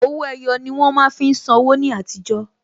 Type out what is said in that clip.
Owó ẹyọ ni wón má fi ń san wó ní àtijọ́